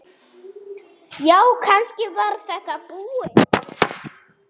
Já, kannski var þetta búið.